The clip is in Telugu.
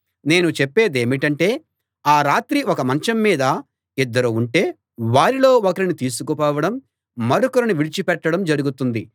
నేను చెప్పేదేమిటంటే ఆ రాత్రి ఒక మంచం మీద ఇద్దరు ఉంటే వారిలో ఒకరిని తీసుకుపోవడం మరొకరిని విడిచి పెట్టడం జరుగుతుంది